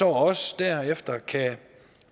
også derefter som kan